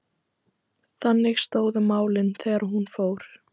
Þannig stóðu málin þegar hún fór.